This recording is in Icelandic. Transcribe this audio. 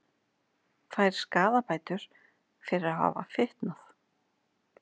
Fær skaðabætur fyrir að hafa fitnað